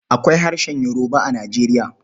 Akwai harshen Yoruba a Nijeriya.